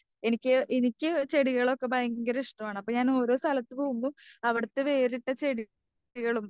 എനിക്ക് എനിക്ക് ചെടികളൊക്കെ ഭയങ്കര ഇഷ്ടമാണ്. അപ്പം ഞാന് ഓരോ സ്ഥലത്തു പോകുമ്പോൾ അവിടുത്തെ വേറിട്ട ചെടികളും.